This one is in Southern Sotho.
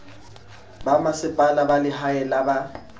bomasepala ba lehae le ba